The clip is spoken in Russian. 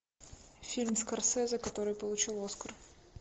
фильм скорсезе который получил оскар